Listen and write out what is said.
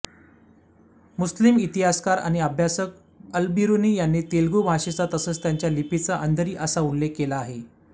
मुस्लिम इतिहासकार आणि अभ्यासक अलबिरुनी यांनी तेलगू भाषेचा तसेच त्याच्या लिपीचा अंधरी असा उल्लेख केला